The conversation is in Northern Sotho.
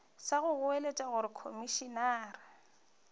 sa go goeletša gore komišenare